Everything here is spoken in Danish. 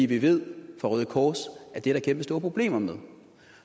det ved vi fra røde kors at der er kæmpestore problemer med